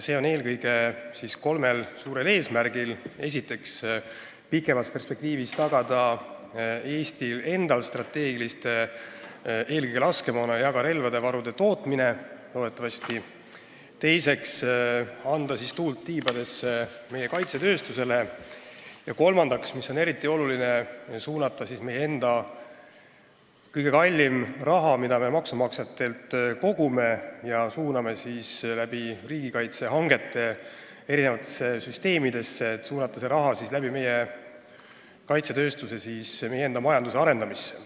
Seda eelkõige kolmel suurel eesmärgil: esiteks, selleks et pikemas perspektiivis tagada Eesti enda strateegiliste varude, eelkõige laskemoona, aga loodetavasti ka relvade tootmine; teiseks, selleks et anda meie kaitsetööstusele tuult tiibadesse; kolmandaks, mis on eriti oluline, selleks et suunata meie kõige kallim raha, mida me maksumaksjatelt kogume ja riigikaitsehangete abil eri süsteemidesse juhime, oma kaitsetööstuse kaudu enda majanduse arendamisse.